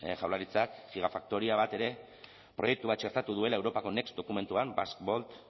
jaurlaritzak gigafaktoria bat ere proiektu bat txertatu duela europako next dokumentuan basque